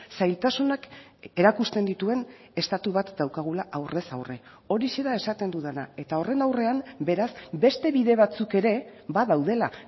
zailtasunak erakusten dituen estatu bat daukagula aurrez aurre horixe da esaten dudana eta horren aurrean beraz beste bide batzuk ere badaudela